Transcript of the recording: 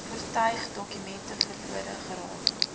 voertuigdokumente verlore geraak